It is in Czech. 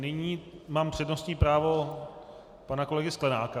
Nyní mám přednostní právo pana kolegy Sklenáka.